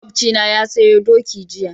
Makocina na sayo doki jiya.